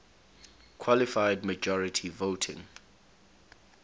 qualified majority voting